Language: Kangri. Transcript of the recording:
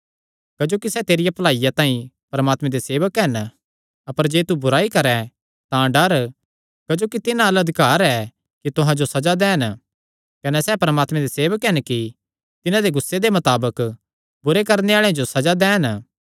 क्जोकि सैह़ तेरिया भलाईया तांई परमात्मे दे सेवक हन अपर जे तू बुराई करैं तां डर क्जोकि तिन्हां अल्ल अधिकार ऐ कि तुहां जो सज़ा दैन कने सैह़ परमात्मे दे सेवक हन कि तिन्हां दे गुस्से दे मताबक बुरे कम्म करणे आल़ेआं जो सज़ा दैन